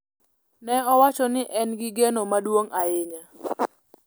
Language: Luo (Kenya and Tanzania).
Ne owacho ni en gi geno maduong' ahinya